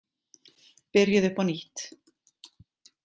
Byrjið upp á nýtt.